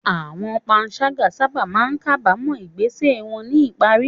Àwọn panṣágà sábà máa ń kábàámọ̀ ìgbésẹ̀ wọn ní ìparí.